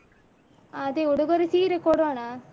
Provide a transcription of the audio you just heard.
ಆ ಅದೇ ಉಡುಗೊರೆ ಸೀರೆ ಕೊಡೋಣ